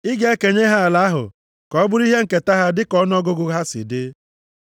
“Ị ga-ekenye ha ala ahụ ka ọ bụrụ ihe nketa ha dịka ọnụọgụgụ aha ha si dị.